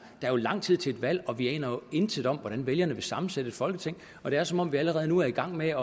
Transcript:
er jo lang tid til et valg og vi aner intet om hvordan vælgerne vil sammensætte et folketing det er som om vi allerede nu er i gang med